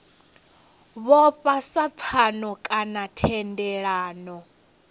vhofha sa pfano kana thendelano